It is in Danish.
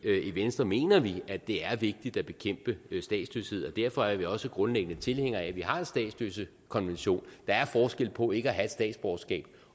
venstre mener vi at det er vigtigt at bekæmpe statsløshed og derfor er vi også grundlæggende tilhængere af at vi har en statsløsekonvention der er forskel på ikke at have et statsborgerskab